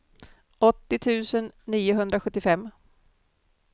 åttio tusen niohundrasjuttiofem